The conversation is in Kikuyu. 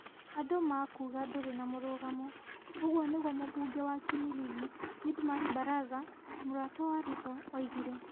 andũ makuga ndũrĩ na mũrugamo. Ũguo nĩguo mũmbunge wa Kimilili Didmus Barasa, mũrata wa Ruto oigire.